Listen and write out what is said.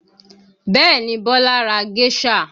Bẹẹ ni, Bola ra géṣà